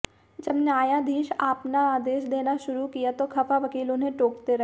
जब न्यायाधीश आपना आदेश देना शुरु किया तो खफा वकील उन्हें टोकते रहें